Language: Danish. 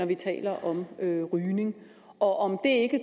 vi taler om rygning rygning og